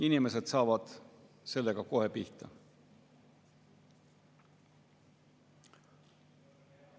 Inimesed saavad sellega kohe pihta.